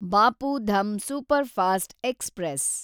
Bapu Dham superfast express